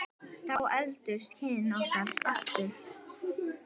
Þá efldust kynni okkar aftur.